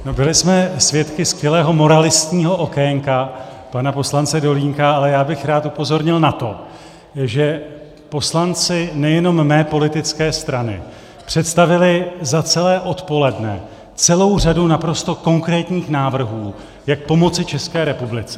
Byli jsme svědky skvělého moralistního okénka pana poslance Dolínka, ale já bych rád upozornil na to, že poslanci nejenom mé politické strany představili za celé odpoledne celou řadu naprosto konkrétních návrhů, jak pomoci České republice.